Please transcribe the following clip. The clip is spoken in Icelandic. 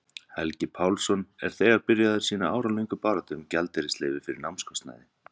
Helgi Pálsson er þegar byrjaður sína áralöngu baráttu um gjaldeyrisleyfi fyrir námskostnaði.